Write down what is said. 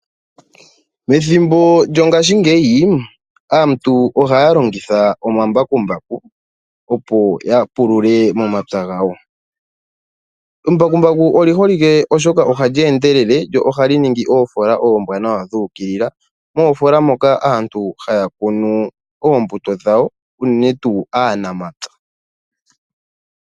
Methimbo lyongaashingeyi aantu ohaya longitha omambakumbaku opo yapulule momapya gawo. Embakumbaku oli holike oshoka ohali endelele lyo ohali ningi oofola oombwaanawa dhuukilila, moofola moka aantu haya kunu oombuto dhawo unene tuu aanamapya.